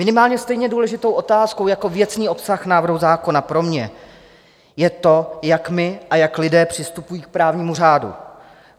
Minimálně stejně důležitou otázkou jako věcný obsah návrhu zákona pro mě je to, jak my a jak lidé přistupujeme k právnímu řádu.